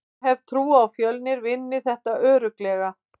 Ég hef trú á að Fjölnir vinni þetta örugglega.